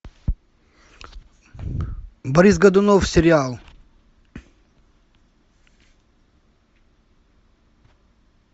борис годунов сериал